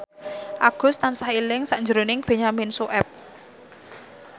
Agus tansah eling sakjroning Benyamin Sueb